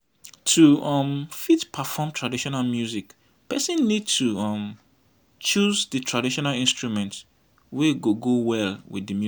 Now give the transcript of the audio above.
to um fit perform traditional music person need to um choose di traditional instrument wey go well with di song